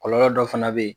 Kɔlɔlɔ dɔ fana bɛ yen